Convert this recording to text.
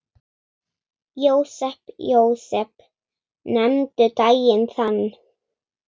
Jósep, Jósep, nefndu daginn þann.